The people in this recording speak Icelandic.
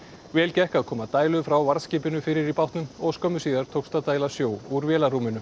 vel gekk að koma dælu frá varðskipinu fyrir í bátnum og skömmu síðar tókst að dæla sjó úr vélarrúminu